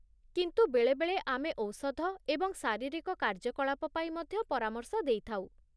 କିନ୍ତୁ ବେଳେବେଳେ ଆମେ ଔଷଧ ଏବଂ ଶାରୀରିକ କାର୍ଯ୍ୟକଳାପ ପାଇଁ ମଧ୍ୟ ପରାମର୍ଶ ଦେଇଥାଉ ।